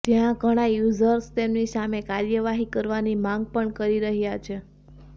જ્યાં ઘણા યૂઝર્સ તેમની સામે કાર્યવાહી કરવાની માંગ પણ કરી રહ્યા છે